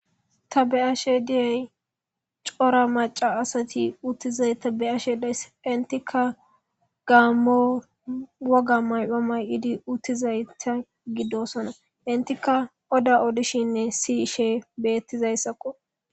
Ta beashe diyay cora maca asati uttizay tabeashe dayss intika gaammo woga mayphamay idi uttizayta giddosona intika oda odishinne siishe bettizayssakko.